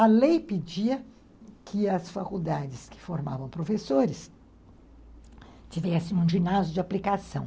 A lei pedia que as faculdades que formavam professores tivessem um ginásio de aplicação.